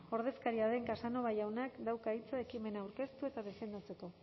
ordezkaria den casanova jaunak dauka hitza ekimena aurkeztu eta defendatzeko